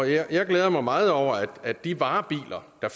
jeg glæder mig meget over at de varebiler der